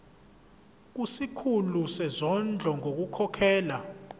kusikhulu sezondlo ngokukhokhela